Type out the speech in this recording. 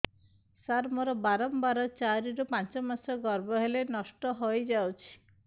ସାର ମୋର ବାରମ୍ବାର ଚାରି ରୁ ପାଞ୍ଚ ମାସ ଗର୍ଭ ହେଲେ ନଷ୍ଟ ହଇଯାଉଛି